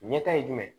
Ɲɛta ye jumɛn ye